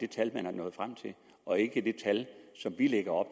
tal man er nået frem til og ikke det tal som vi lægger op